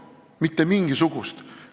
Tal ei ole selleks mitte mingisugust õigust.